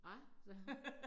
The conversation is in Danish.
Hva sagde hun